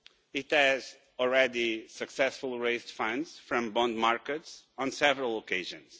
It has already successfully raised funds from bond markets on several occasions.